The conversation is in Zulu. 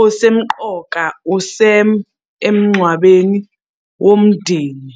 osemqoka uSam emngcwabeni womndeni.